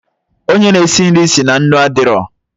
Onye na esi nri si na nnu adịrọ